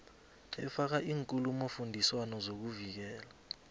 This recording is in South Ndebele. efaka iinkulumofundiswano zokuvikela